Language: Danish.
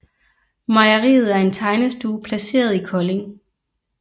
Mejeriet er en tegnestue placeret i Kolding